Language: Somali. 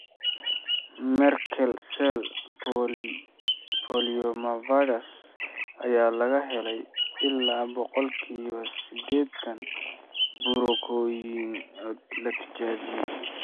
Merkel cell polyomavirus ayaa laga helay ilaa boqolkiba sidetaan burooyinka la tijaabiyay.